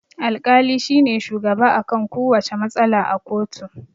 Al-kali shine shugaba akan kuwacce matsala a koto